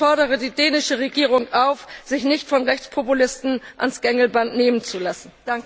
Ich fordere die dänische Regierung auf, sich nicht von Rechtspopulisten ans Gängelband nehmen zu lassen!